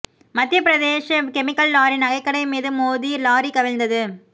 Madhya Pradesh chemical lorry நகைக்கடை மீது மோதி லாரி கவிழ்ந்தது